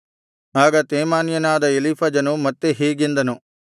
ಆಗ ತೇಮಾನ್ಯನಾದ ಎಲೀಫಜನು ಮತ್ತೆ ಹೀಗೆಂದನು